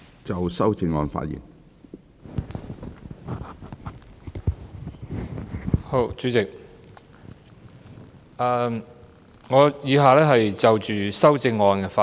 主席，我以下就修正案發言。